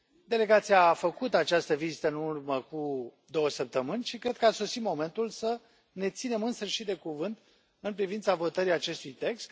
Delegația a făcut această vizită în urmă cu două săptămâni și cred că a sosit momentul să ne ținem însă și de cuvânt în privința votării acestui text.